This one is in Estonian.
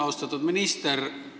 Austatud minister!